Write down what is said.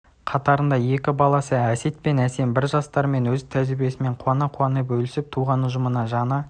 қатарында екі баласы әсет пен әсем бар жастармен өз тәжірибесімен қуана-қуана бөлісіп туған ұжымына жаны